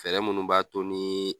Fɛɛrɛ munnu b'a to ni